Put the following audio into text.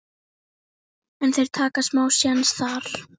en þeir taka smá séns þar.